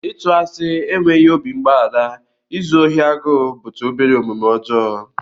Ịtụ asị, enweghị obi mgbaghara, izu ohi agụụ bụcha obere omume ọjọọ